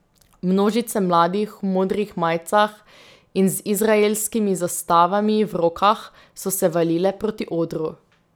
Množice mladih v modrih majicah in z izraelskimi zastavami v rokah so se valile proti odru.